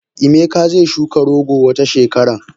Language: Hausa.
Emeka ze shuka rogo Wata shekaran.